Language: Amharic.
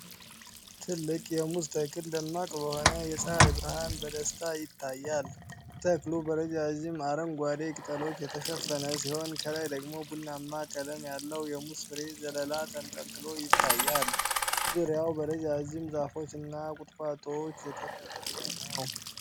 ትልቅ የሙዝ ተክል ደማቅ በሆነ የፀሐይ ብርሃን በደስታ ይታያል። ተክሉ በረዣዥም አረንጓዴ ቅጠሎች የተሸፈነ ሲሆን፤ ከላይ ደግሞ ቡናማ ቀለም ያለው የሙዝ ፍሬ ዘለላ ተንጠልጥሎ ይታያል። ዙሪያው በረጃጅም ዛፎች እና ቁጥቋጦዎች የተከበበ ነው።